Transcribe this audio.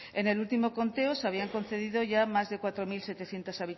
en el último conteo se habían concedido ya más de cuatro mil setecientos